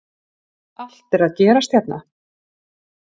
Allt er að gerast hérna!!